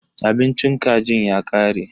Abincin kajin ya kare.